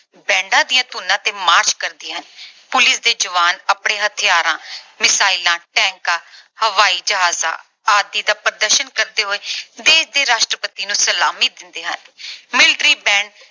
bands ਦੀਆਂ ਧੁਨੀਆਂ ਤੇ march ਕਰਦੀਆਂ ਹਨ। police ਦੇ ਜਵਾਨ ਆਪਣੇ ਹਥਿਆਰਾਂ, missile tanks ਹਵਾਈ ਜਹਾਜਾਂ ਆਦਿ ਦਾ ਪ੍ਰਦਰਸ਼ਨ ਕਰਦੇ ਹੋਏ ਦੇਸ਼ ਦੇ ਰਾਸ਼ਟਰਪਤੀ ਨੂੰ ਸਲਾਮੀ ਦਿੰਦੇ ਹਨ। military band